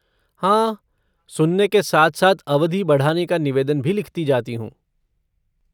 हाँ, सुनने के साथ साथ अवधि बढ़ाने का निवेदन भी लिखती जाती हूँ।